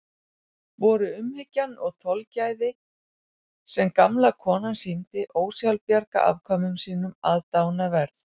Voru umhyggjan og þolgæðið sem gamla konan sýndi ósjálfbjarga afkvæmum sínum aðdáunarverð.